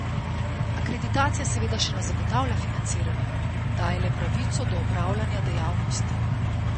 Akreditacija seveda še ne zagotavlja financiranja, daje le pravico do opravljanja dejavnosti.